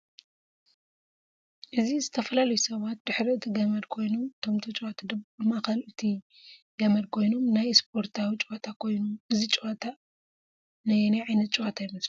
እዚዝተፈላላዩ ሳባት ድሕሪ እቲ ገመድ ኮይኖም እቶም ተጫወቲ ድማ ኣብ ማእከል እቲ ከመድ ኮይኖም ናይ እስበርታዊ ጨወታ ኮይኑ እዚ ጨወታ እ ንያይ ዓይነትጨወታ ይመስለኩም?